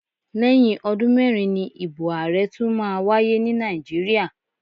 Lẹ́yìn ọdún mẹ́rin ni ìbò ààrẹ tún máa wáyé ní Nàìjíríà.